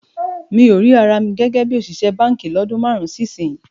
Mi ò rí ara mi gẹ́gẹ́ bí òṣìṣẹ́ báǹkì lọ́dún márùn-ún sí ìsinyìí